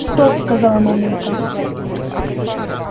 стоп сказала мамулька